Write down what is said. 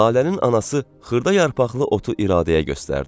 Lalənin anası xırda yarpaqlı otu İradəyə göstərdi.